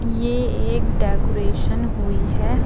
ये एक डेकोरेशन हुई है।